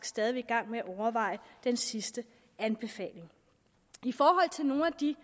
stadig i gang med at overveje den sidste anbefaling i forhold til nogle af de